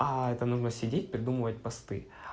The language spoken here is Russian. а это нужно сидеть придумывать посты